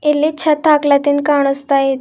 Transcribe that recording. ಇಲ್ಲಿ ಛತ್ ಹಾಕ್ಲಾತಿನ್ ಕಾಣಿಸ್ತಾ ಇದೆ.